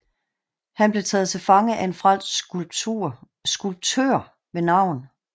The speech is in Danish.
Han blev taget til fange af en fransk skulptør ved navn